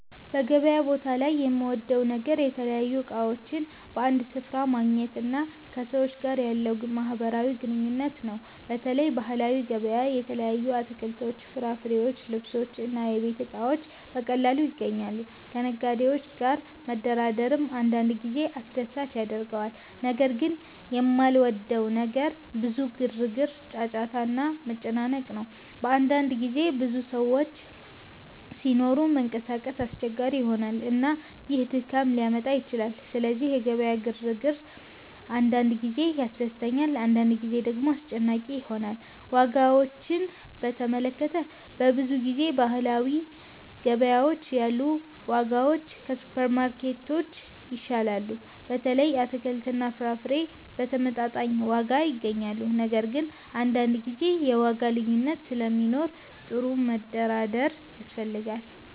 በገበያ ቦታ ላይ የምወደው ነገር የተለያዩ እቃዎችን በአንድ ስፍራ ማግኘት እና ከሰዎች ጋር ያለው ማህበራዊ ግንኙነት ነው። በተለይ ባህላዊ ገበያዎች የተለያዩ አትክልቶች፣ ፍራፍሬዎች፣ ልብሶች እና የቤት እቃዎች በቀላሉ ይገኛሉ። ከነጋዴዎች ጋር መደራደርም አንዳንድ ጊዜ አስደሳች ያደርገዋል። ነገር ግን የማልወደው ነገር ብዙ ግርግር፣ ጫጫታ እና መጨናነቅ ነው። በአንዳንድ ጊዜ ብዙ ሰዎች ሲኖሩ መንቀሳቀስ አስቸጋሪ ይሆናል፣ እና ይህ ድካም ሊያመጣ ይችላል። ስለዚህ የገበያው ግርግር አንዳንድ ጊዜ ያስደስተኛል፣ አንዳንድ ጊዜ ደግሞ አስጨናቂ ይሆናል። ዋጋዎችን በተመለከተ፣ በብዙ ጊዜ በባህላዊ ገበያዎች ያሉ ዋጋዎች ከሱፐርማርኬቶች ይሻላሉ። በተለይ አትክልትና ፍራፍሬ በተመጣጣኝ ዋጋ ይገኛሉ። ነገር ግን አንዳንድ ጊዜ የዋጋ ልዩነት ስለሚኖር ጥሩ መደራደር ያስፈልጋል።